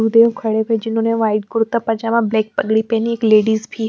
खड़े हुए जिन्होंने व्हाईट कुर्ता पैजामा ब्लैक पगड़ी पहने हुए एक लेडीज़ भी--